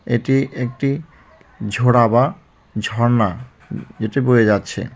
এটি একটি ঝোড়া বা ঝরনা দেখে বোঝা যাচ্ছে.